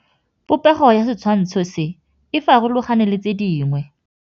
Popêgo ya setshwantshô se, e farologane le tse dingwe.